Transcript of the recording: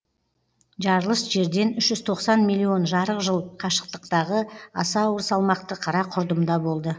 жарылыс жерден үш жүз тоқсан миллион жарық жыл қашықтықтағы аса ауыр салмақты қара құрдымда болды